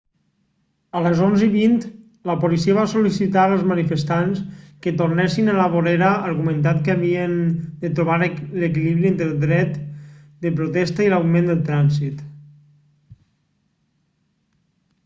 a les 11:20 la policia va sol·licitar als manifestants que tornessin a la vorera argumentant que havien de trobar l'equilibri entre el dret de protesta i l'augment del trànsit